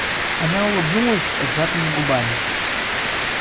она улыбнулась сжатыми губами